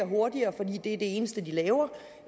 hurtigere fordi det er det eneste de laver